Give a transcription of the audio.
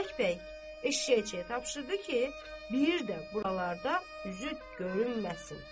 Və bərk-bərk eşşəkçiyə tapşırdı ki, bir də buralarda üzü görünməsin.